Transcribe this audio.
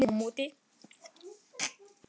kallaði hún á móti.